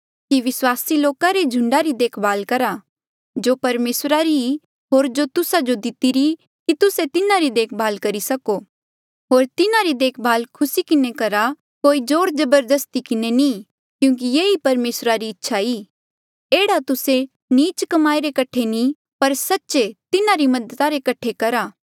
कि विस्वासी लोका रे झुंडा री देखभाल करा जो परमेसरा री होर जो तुस्सा जो दितिरी की तुस्से तिन्हारी देखभाल करी सको होर तिन्हारी देखभाल खुसी किन्हें करहा कोई जोर जबरदस्ती किन्हें नी क्यूंकि ये ही परमेसरा री इच्छा ई एह्ड़ा तुस्से नीच कमाई रे कठे नी पर सच्चे तिन्हारी मदद करणे रे कठे करा